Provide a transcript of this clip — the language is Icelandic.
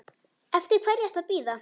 Eftir hverju ertu að bíða!